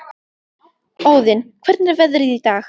Óðinn, hvernig er veðrið í dag?